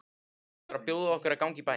Hann er að bjóða okkur að ganga í bæinn.